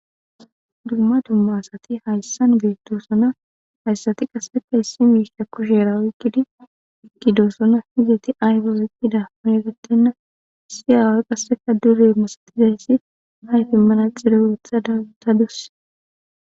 dumma dumma asati hayssan beettosona hayssati qasseka issi miisha kusheera oykkidi ikkidoosona hizeti ayfe woyqqida aegettenna issi aawe qasseka dure masatizayssi hayfimmana xire wetha datadus